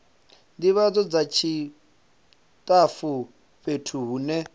ndivhadzo dza tshitafu fhethu hune